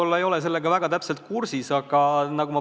Ma ei ole sellega väga hästi kursis.